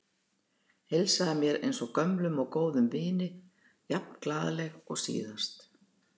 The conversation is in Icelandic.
Heilsaði mér eins og gömlum og góðum vini, jafn glaðleg og síðast.